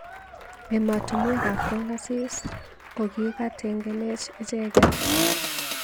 Emotunwek ab kong asis kokitangeenech echeket.